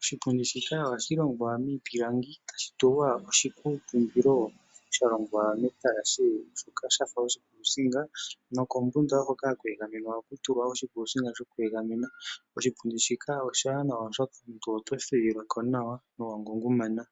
Oshipundi shika ohashi longwa miipilangi tashi tulwa oshikutumbilo sha longwa metalashe, shoka sha fa oshikuusinga. No kombunda hoka ha ku egamenwa oha ku tulwa oshikuusinga sho ku egamena. Oshipundi shika oshiwanawa oshoka omuntu oto thuwila ko nawa, no wa ngungumana.